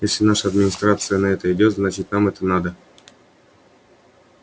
если наша администрация на это идёт значит нам это надо